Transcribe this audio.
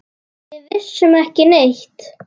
Við vissum ekki neitt.